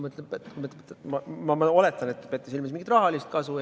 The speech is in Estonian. Ma oletan, et te peate silmas mingit rahalist kasu.